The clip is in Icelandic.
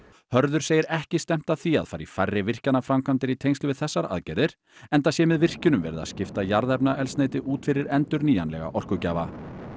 Hörður segir ekki stefnt að því að fara í færri virkjanaframkvæmdir í tengslum við þessar aðgerðir enda sé með virkjunum verið að skipta jarðefnaeldsneyti út fyrir endurnýjanlega orkugjafa